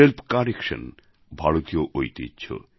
self correction ভারতীয় ঐতিহ্য